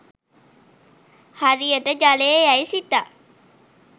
හරියට ජලය යැයි සිතා